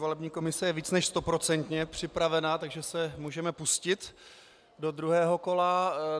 Volební komise je více než stoprocentně připravena, takže se můžeme pustit do druhého kola.